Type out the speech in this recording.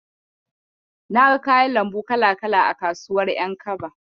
Naga kayan lambu kala-kala a kasuwar ƴankaba.